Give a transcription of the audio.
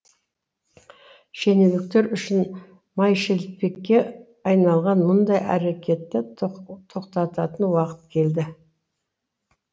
шенеуніктер үшін майшелпекке айналған мұндай әрекетті тоқтатын уақыт келді